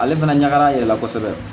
Ale fana ɲagara a yɛrɛ la kosɛbɛ